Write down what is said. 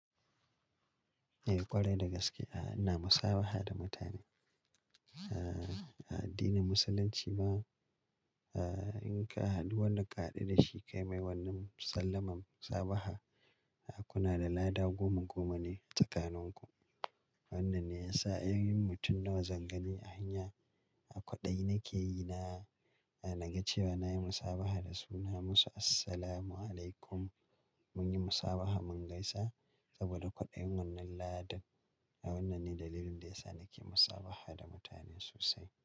Eh ƙwarai da gaske, a'a ina musabaha da mutane. A addinin Musulunci ma, a in ka haɗu wannan ka haɗu da shi kai mai wannan sallamar musabaha, kuna da lada goma goma ne tsakaninku. Wannan ne ya sa in yi mutum nawa zan gani a hanya, a kwaɗayi na ke yi na, na ga cewa na yi musabaha da suna musu "Assalamu alaikum". Mun yi musabaha mun gaisa saboda kwaɗayin wannan ladan. Wannan ne dalilin da ya sa na ke musabaha da mutane sosai.